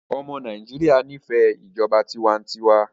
ọmọ Nàìjíría n'ifẹ ìjọba tiwantiwa